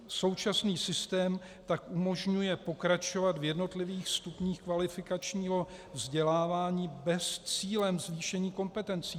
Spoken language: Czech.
Současný systém tak umožňuje pokračovat v jednotlivých stupních kvalifikačního vzdělávání bez cíle zvýšení kompetencí.